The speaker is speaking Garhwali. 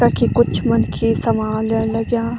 कखी कुछ मनखी सामान ल्येण लग्याँ।